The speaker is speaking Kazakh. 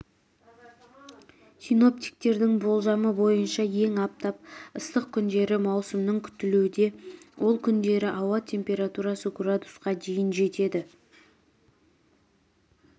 синоптиктердің болжамы бойынша ең аптап ыстық күндері маусымның күтілуде ол күндері ауа температурасы градусқа дейін жетеді